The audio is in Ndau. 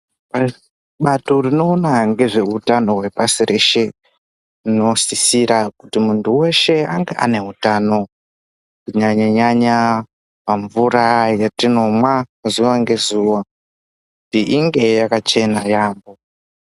Bato rino ona ngezve utano hwe pashi reshe rinosisira kuti muntu weshe ange ane utano huno ererana pamvura yatinomwa zuva nge zuva inge yakachena yambo.